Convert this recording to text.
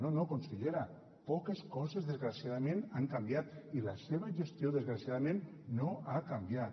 no no consellera poques coses desgraciadament han canviat i la seva gestió desgraciadament no ha canviat